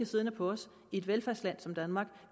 siddende på os i et velfærdsland som danmark